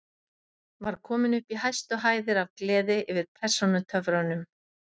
Var kominn upp í hæstu hæðir af gleði yfir persónutöfrunum.